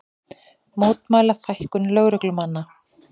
Mótmæla fækkun lögreglumanna